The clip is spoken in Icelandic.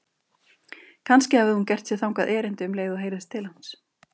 Kannski hafði hún gert sér þangað erindi um leið og heyrðist til hans.